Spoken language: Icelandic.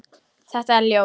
Þetta er ljóð.